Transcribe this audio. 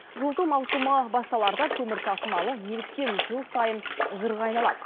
жылыту маусымы басталарда көмір тасымалы неліктен жыл сайын жырға айналады